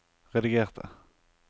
redigerte